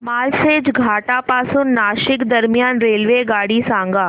माळशेज घाटा पासून नाशिक दरम्यान रेल्वेगाडी सांगा